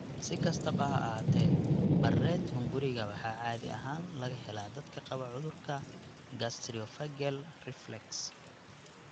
Si kastaba ha ahaatee, Barrett hunguriga waxaa caadi ahaan laga helaa dadka qaba cudurka gastroesophageal reflux (GERD).